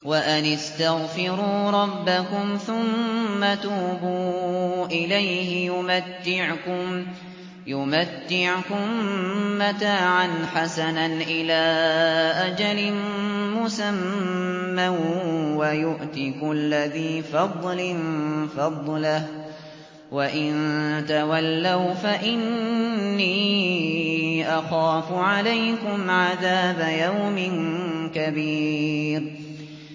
وَأَنِ اسْتَغْفِرُوا رَبَّكُمْ ثُمَّ تُوبُوا إِلَيْهِ يُمَتِّعْكُم مَّتَاعًا حَسَنًا إِلَىٰ أَجَلٍ مُّسَمًّى وَيُؤْتِ كُلَّ ذِي فَضْلٍ فَضْلَهُ ۖ وَإِن تَوَلَّوْا فَإِنِّي أَخَافُ عَلَيْكُمْ عَذَابَ يَوْمٍ كَبِيرٍ